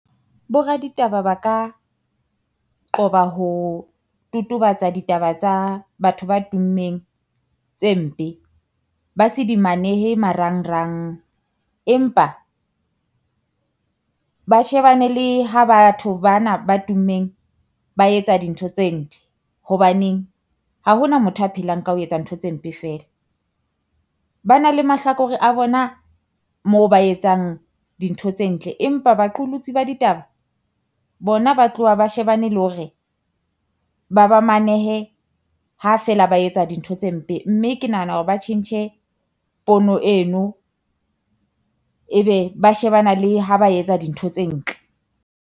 Bo raditaba ba ka qoba ho totobatsa ditaba tsa batho ba tummeng tse mpe, ba se di manehe marang rang. Empa ba shebane le ha batho bana ba tummeng ba etsa dintho tse ntle, hobaneng ha ho na motho a phelang ka ho etsa ntho tse mpe feela. Ba na la mahlakore a bona moo ba etsang dintho tse ntle, empa baqolotsi ba ditaba bona ba tloha ba shebane le hore ba ba manehe ha feela ba etsa dintho tse mpe, mme ke nahana hore ba tjhentjhe pono eno ebe ba shebana le ha ba etsa dintho tse ntle.